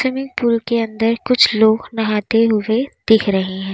Swimming pool के अंदर कुछ लोग नहाते हुए दिख रहे हैं।